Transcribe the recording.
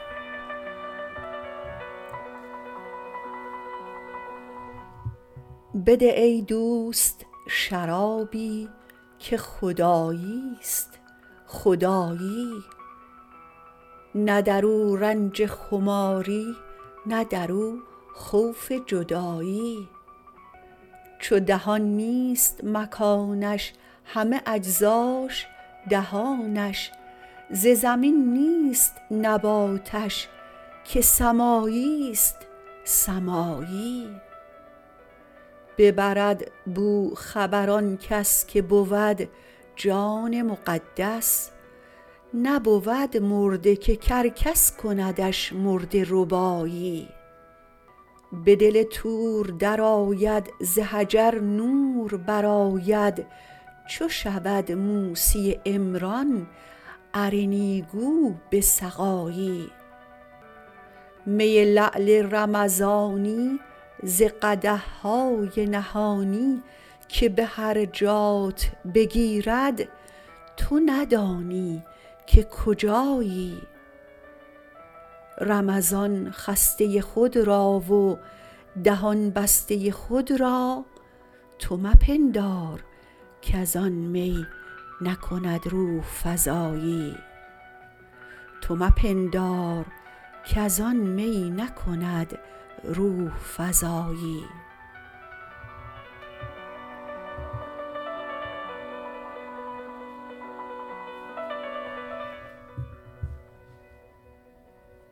بده ای دوست شرابی که خدایی است خدایی نه در او رنج خماری نه در او خوف جدایی چو دهان نیست مکانش همه اجزاش دهانش ز زمین نیست نباتش که سمایی است سمایی ببرد بو خبر آن کس که بود جان مقدس نبود مرده که کرکس کندش مرده ربایی به دل طور درآید ز حجر نور برآید چو شود موسی عمران ارنی گو به سقایی می لعل رمضانی ز قدح های نهانی که به هر جات بگیرد تو ندانی که کجایی رمضان خسته خود را و دهان بسته خود را تو مپندار کز آن می نکند روح فزایی